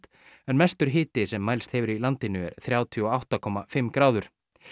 en mestur hiti sem mælst hefur í landinu er þrjátíu og átta komma fimm gráður